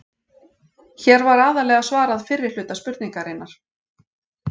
Hér var aðallega svarað fyrri hluta spurningarinnar.